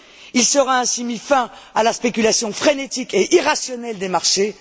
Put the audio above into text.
Il sera ainsi mis fin à la spéculation frénétique et irrationnelle des marchés.